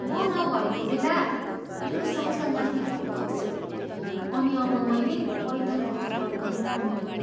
म नभएको बेला मेरो साइकलमाथि रूख खस्यो, अनि अब मैले पैदल घर फर्कनु पर्ने भयो।